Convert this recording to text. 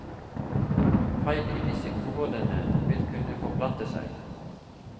Feil i disse områdene vil kunne forplante seg.